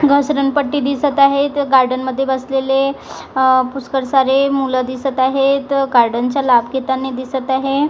घसरणपट्टी दिसत आहे इथं गार्डनमध्ये बसलेले पुष्कळ सारे मुलं दिसत आहेत गार्डेनचा लाभ घेताना दिसत आहे.